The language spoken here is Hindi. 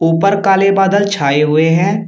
ऊपर काले बादल छाए हुए हैं।